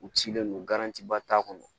U cilen don ba t'a kɔnɔ